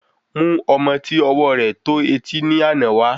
Mú ọmọ ti ọwọ rẹ tó etí ni àná wa